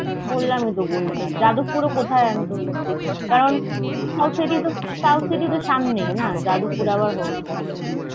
বললাম হিত গরিয়া হাট। জাদপ্পুরও কথায় আমিতো দেখিনি। কারণ South City তো South City তো সামনেই না। জাদপ্পুরে আবার হবেনা।